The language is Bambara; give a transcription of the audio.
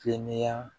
Kɛnɛya